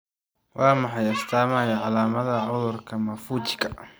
Waa maxay astamaha iyo calaamadaha cudurka Maffuccika?